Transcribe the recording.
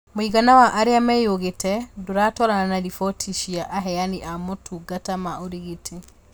Mũigana wa arĩa meyugĩte ndũratwarana na rĩbotĩ cia aheani a motungata ma ũrigiti